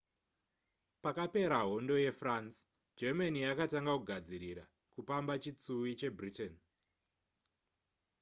pakapera hondo yefrance germany yakatanga kugadzirira kupamba chitsuwi chebritain